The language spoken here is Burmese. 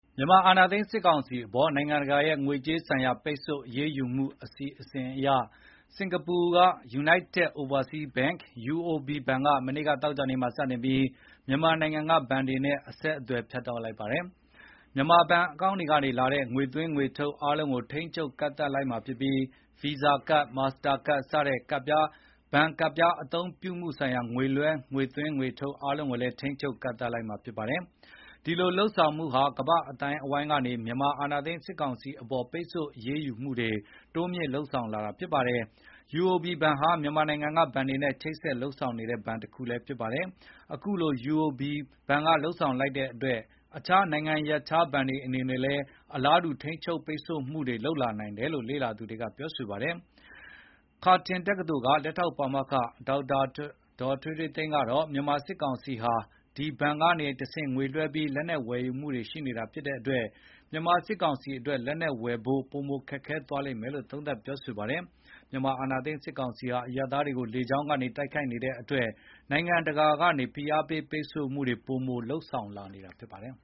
မြန်မာအာဏာသိမ်း စစ်ကောင်စီအပေါ် နိုင်ငံတကာရဲ့ငွေကြေးဆိုင်ရာ ပိတ်ဆို့အရေးယူမှု အစီစဉ်ရ စင်္ကာပူနိုင်ငံက United Overseas Bank (UOB)က သောကြာနေ့က စတင်ပြီး မြန်မာနိုင်ငံက ဘဏ်တွေနဲ့ အဆက်အသွယ်ဖြတ် တောက်လိုက်ပါတယ်။ မြန်မာဘဏ် အကောင့်တွေကနေလာတဲ့ ငွေသွင်းငွေထုတ်၊ အားလုံးကို ချုပ်ချယ်ကန့်သတ်လိုက်မှာဖြစ်ပြီး၊ Visa Card, Mastercard စတဲ့ ဘဏ်ကဒ်ပြား အသုံးပြုမှုဆိုင်ရာ ငွေသွင်းငွေလွှဲလုပ်ငန်းအားလုံးကိုလည်း ထိန်းချုပ်ကန့်သတ်လိုက်မှာ ဖြစ်ပါတယ်။ ဒီလုပ်ဆောင်မှုဟာ ကမ္ဘာ့အသိုင်းအဝိုင်းကနေ မြန်မာအာဏာသိမ်း စစ်ကောင်စီအပေါ် ပိတ်ဆို့အရေးယူမှုတွေ တိုးမြှင့် လုပ်ဆောင်လာတာဖြစ်ပါတယ်။ UOB ဘဏ်ဟာ မြန်မာနိုင်ငံကဘဏ်တွေနဲ့ ချိတ်ဆက်လုပ်ဆောင်နေတဲ့ ဘဏ်တခုလည်းဖြစ်ပါတယ်။ အခုလို UOB က လုပ်ဆောင်လိုက်တဲ့အတွက် အခြားနိုင်ငံရပ်ခြား ဘဏ်တွေအနေနဲ့လည်း အလားတူ ထိန်းချုပ်ပိတ်ဆို့မှုတွေ လုပ်လာနိုင်တယ်လို့ လေ့လာသူတွေက ပြောဆိုထားပါတယ်။ Curtin တက္ကသိုလ်က လက်ထောက်ပါမောက္ခ ဒေါက်တာ ထွေးထွေးသိန်းကတော့ မြန်မာစစ်ကောင်စီဟာ ဒီဘဏ်တွေကနေတဆင့် ငွေလွှဲပြီး လက်နက်တွေ ဝယ်ယူနေတာဖြစ်တဲ့အတွက်၊ မြန်မာစစ်ကောင်စီအတွက် လက်နက်ဝယ်ဖို့ ပိုမိုခက်ခဲသွားမယ်လို့ သုံးသပ်ပြောဆိုပါတယ်။ မြန်မာအာဏာသိမ်းစစ်ကောင်စီဟာ အရပ်သားတွေကို လေကြောင်းကနေ တိုက်ခိုက်နေတဲ့အတွက် နိုင်ငံတကာကနေ ဖိအားပေး ပိတ်ဆို့မှုတွေ ပိုမို လုပ်ဆောင်လာနေတာဖြစ်ပါတယ်